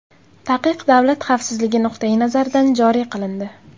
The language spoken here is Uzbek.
Taqiq davlat xavfsizligi nuqtai nazaridan joriy qilindi.